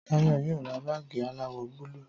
Táyọ̀ yóò ra báàgì aláwọ̀ búlù